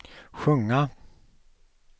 sjunga